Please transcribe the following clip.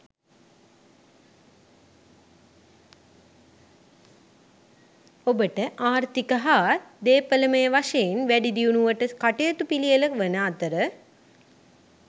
ඔබට ආර්ථික හා දේපලමය වශයෙන් වැඩිදියුණුවට කටයුතු පිළියෙළ වන අතර